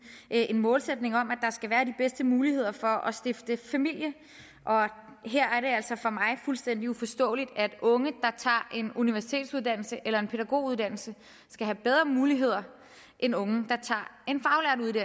en målsætning om at skal være de bedste muligheder for at stifte familie og her er det altså fuldstændig uforståeligt for at unge der tager en universitetsuddannelse eller en pædagoguddannelse skal have bedre muligheder end unge der tager